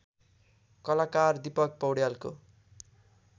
कलाकार दिपक पौड्यालको